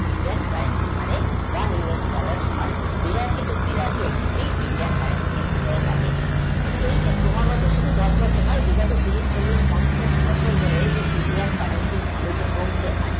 Again current মানে one years dollar সমান বিরাশি তিরাশি Indian country দাঁড়িয়েছে তো এই যে ক্রমাগত শুধু দশ বছর দশ বছর তিরিশ বছর চল্লিশ পঞ্চাশ বছর ধরে এই Indian country value যে কমছে